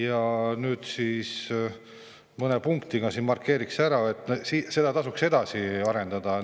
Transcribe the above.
Ma nüüd mõne punktiga markeeriksin ära, et seda tasuks edasi arendada.